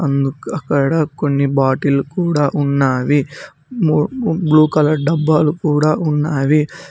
అందుకు అక్కడ కొన్ని బాటిల్ కూడా ఉన్నావి ము బ్లూ కలర్ డబ్బాలు కూడా ఉన్నావి.